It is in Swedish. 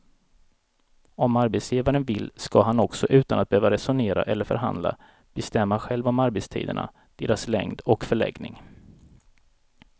Om arbetsgivaren vill ska han också utan att behöva resonera eller förhandla bestämma själv om arbetstiderna, deras längd och förläggning.